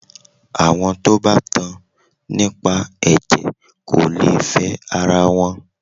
Àwọn tí o bá tan nípa ẹ̀jẹ̀ kò lè fẹ ara wọn.